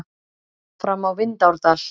Fram á Vindárdal.